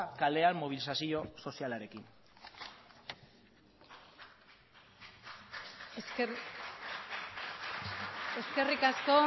kalean mobilizazio sozialarekin eskerrik asko